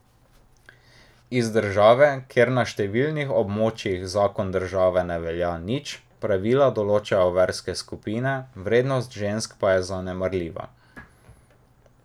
Iz države, kjer na številnih območjih zakon države ne velja nič, pravila določajo verske skupine, vrednost žensk pa je zanemarljiva.